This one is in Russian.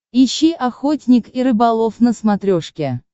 ищи охотник и рыболов на смотрешке